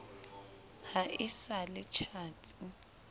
ha e sa le tjhatsi